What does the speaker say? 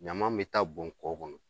Ɲama bɛ taa bɔn kɔ kɔnɔ